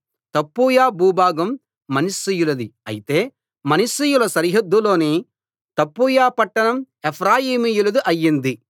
తప్పూయ భూభాగం మనష్షీయులది అయితే మనష్షీయుల సరిహద్దు లోని తప్పూయ పట్టణం ఎఫ్రాయిమీయులది అయింది